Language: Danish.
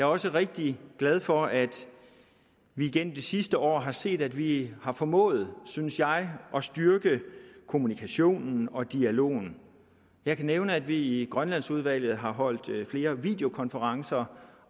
også rigtig glad for at vi gennem det sidste år har set at vi har formået synes jeg at styrke kommunikationen og dialogen jeg kan nævne at vi i grønlandsudvalget har holdt flere videokonferencer